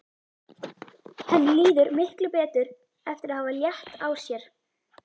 Henni líður miklu betur eftir að hafa létt á sér.